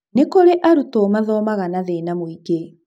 Nĩ kũrĩ arutwo mathomaga na thĩna mũingĩ.